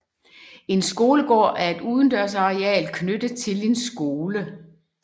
En skolegård er et udendørsareal knyttet til en skole